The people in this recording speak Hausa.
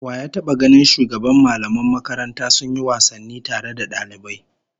Wa ya taba ganin shugaban mallaman makaranta sun yi wasanni tare da dalibai?